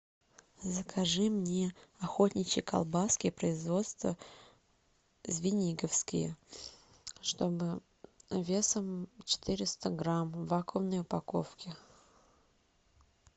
закажи мне охотничьи колбаски производства звениговские чтобы весом четыреста грамм в вакуумной упаковке